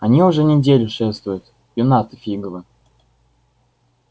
они уже неделю шефствуют юннаты фиговы